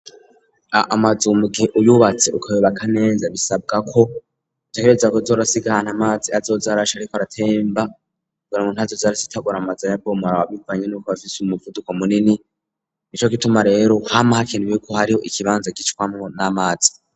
Amazu mugihe uyubatse ukoyobaka neza bisabwa ko ntegereza kuzorasigahana amazi azozarasha, ariko aratemba gura mu ntazo zari zitagora amaza ya bomora awa bivanye n'uko bafise umuvuduko munini, ni co kituma rero hama hakenuwi yuko hariho ikibanza gicwamwo n'amazi.